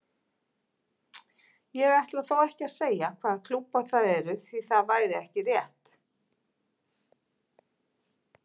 Ég ætla þó ekki að segja hvaða klúbbar það eru því það væri ekki rétt.